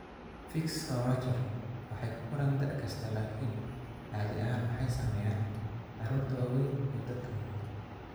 Fiix Urachalka waxay ku koraan da 'kasta, laakiin caadi ahaan waxay saameeyaan carruurta waaweyn iyo dadka waaweyn.